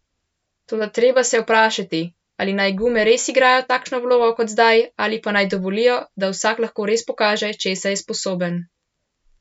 Toda treba se je vprašati, ali naj gume res igrajo takšno vlogo kot zdaj ali pa naj dovolijo, da vsak lahko res pokaže, česa je sposoben.